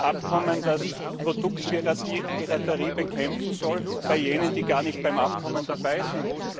Ein Abkommen, das Produktpiraterie bekämpfen soll bei jenen, die gar nicht bei dem Abkommen dabei sind!